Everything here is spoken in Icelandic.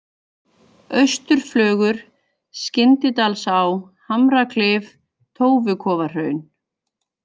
Austurflögur, Skyndidalsá, Hamraklif, Tófukofahraun